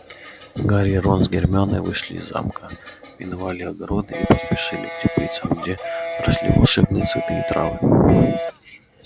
гарри и рон с гермионой вышли из замка миновали огороды и поспешили к теплицам где росли волшебные цветы и травы